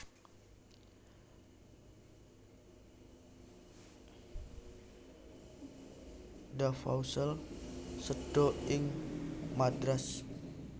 Duvaucel séda ing Madras